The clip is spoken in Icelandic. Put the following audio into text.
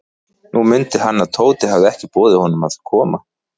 Nú mundi hann, að Tóti hafði ekki boðið honum að koma.